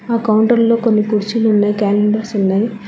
ఆ కౌంటర్లో కొన్ని కుర్చీలు ఉన్నాయి క్యాలెండర్స్ ఉన్నాయి.